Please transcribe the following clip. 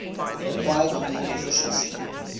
acquired immune deficiency